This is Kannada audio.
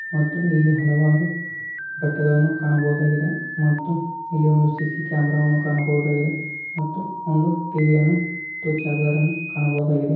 ಇಲ್ಲಿ ಹಲವಾರು ಬಟ್ಟೆಗಳನ್ನು ಕಾಣಬಹುದಾಗಿದೆ . ಮತ್ತು ಇಲ್ಲಿ ಸಿ ಸಿ ಕ್ಯಾಮೆರಾವನ್ನು ಕಾಣಬಹುದಾಗಿದೆ . ಮತ್ತು ಒಂದು ಟಿವಿ ಮತ್ತು ಚಾರ್ಜರನ್ನು ಕಾಣಬಹುದಾಗಿದೆ.